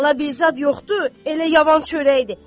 Bala bir zad yoxdur, elə yavan çörəkdir.